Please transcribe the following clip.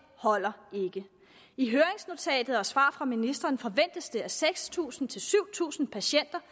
holder ikke i høringsnotatet og i svaret fra ministeren forventes det at seks tusind syv tusind patienter